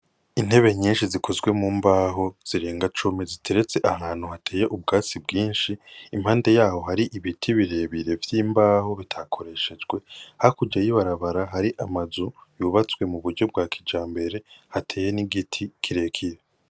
Intebe nyinshi zikozwe mu mbaho zirenga cumi ziteretse ahantu hateye ubwatsi bwinshi, impande yaho hari ibiti birebire vy'imbaho bitakoreshejwe, hakurya y'ibarabara hari amazu yubatswe mu buryo bwa kijambere hateye n'igiti kirekire.